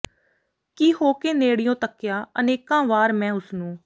ਕਿ ਹੋ ਕੇ ਨੇੜਿਓਂ ਤੱਕਿਆ ਅਨੇਕਾਂ ਵਾਰ ਮੈਂ ਉਸ ਨੂੰ